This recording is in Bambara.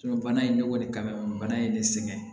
bana in bɛ k'o de kama bana in de sɛgɛn